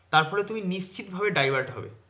তারফলে তুমি নিশ্চিত ভাবে divert হবে।